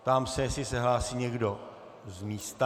Ptám se, jestli se hlásí někdo z místa.